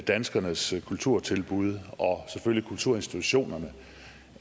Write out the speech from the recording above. danskernes kulturtilbud og selvfølgelig kulturinstitutionerne